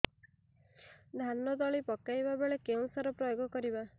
ଧାନ ତଳି ପକାଇବା ବେଳେ କେଉଁ ସାର ପ୍ରୟୋଗ କରିବା